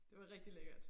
Det var rigtig lækkert